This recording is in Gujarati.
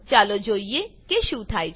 ચાલો જોઈએ કે શું થાય છે